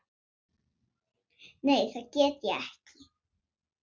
Nei það get ég ekki.